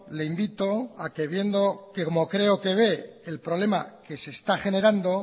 le invito a que viendo que como creo que ve el problema que se está generando